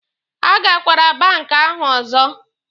A gakwara banki ahụ ọzọ!